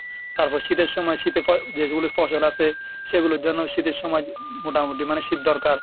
তারপর শীতের সময় শীতের ফ~ যেগুলি ফসল আছে সেগুলো যেন শীতের সময় মোটামুটি মানে শীত দরকার।